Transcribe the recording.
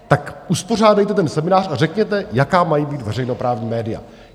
Tak uspořádejte ten seminář a řekněte, jaká mají být veřejnoprávní média.